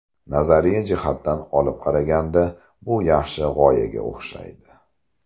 Nazariy jihatdan olib qaraganda bu yaxshi g‘oyaga o‘xshaydi.